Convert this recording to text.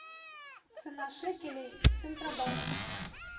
цена шекелей в центробанке